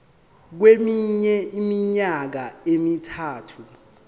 kweminye iminyaka emithathu